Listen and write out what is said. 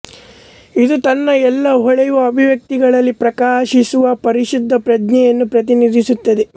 ಇದು ತನ್ನ ಎಲ್ಲ ಹೊಳೆಯುವ ಅಭಿವ್ಯಕ್ತಿಗಳಲ್ಲಿ ಪ್ರಕಾಶಿಸುವ ಪರಿಶುದ್ಧ ಪ್ರಜ್ಞೆಯನ್ನು ಪ್ರತಿನಿಧಿಸುತ್ತದೆ